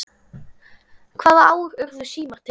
Hvaða ár urðu símar til?